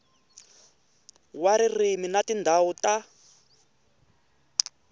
wa ririmi na tindhawu ta